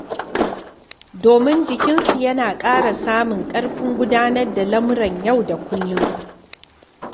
Domin jikinsu yana ƙara samun ƙarfin gudanar da lamuran yau da kullum.